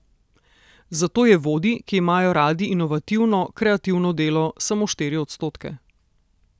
Zato je vodij, ki imajo radi inovativno, kreativno delo, samo štiri odstotke.